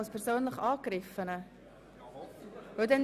Als persönlich Angegriffener? – Das ist der Fall.